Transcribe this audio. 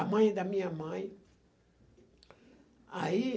A mãe da minha mãe. Aí,